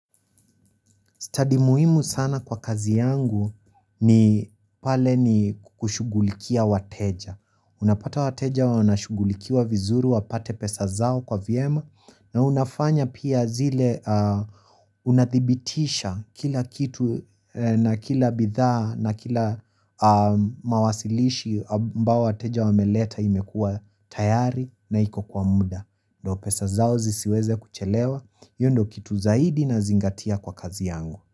Study muhimu sana kwa kazi yangu ni pale ni kushugulikia wateja. Unapata wateja wanashugulikiwa vizuru wapate pesa zao kwa vyema na unafanya pia zile unathibitisha kila kitu na kila bidhaa na kila mawasilishi ambao wateja wameleta imekua tayari na iko kwa muda. Ndio pesa zao zisiweze kuchelewa hio ndio kitu zaidi nazingatia kwa kazi yangu.